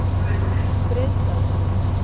Breiðdalsvík